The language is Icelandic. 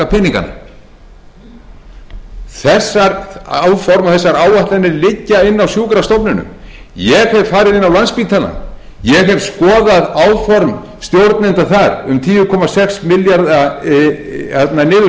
peningana þessi áform og þessar áætlanir liggja inni á sjúkrastofnunum ég hef farið inn á landspítalann ég hef skoðað áform stjórnenda þar um tíu komma sex milljarða niðurskurð ég